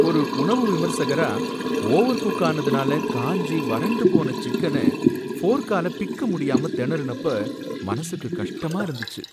ஒரு உணவு விமர்சகரா, ஓவர்குக் ஆனதுனால காஞ்சி வறண்டு போன சிக்கன ஃபோர்க்கால பிக்கமுடியாம திணறுனப்ப மனசுக்கு கஷ்டமா இருந்துச்சு